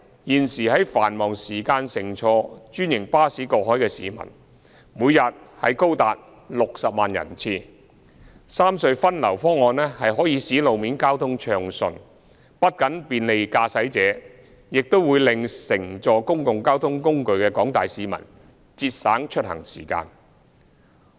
現時在繁忙時間乘坐專營巴士過海的市民，每天高達60萬人次。三隧分流方案可以使路面交通暢順，不僅便利駕駛者，亦令乘坐公共交通工具的廣大市民節省出行時間。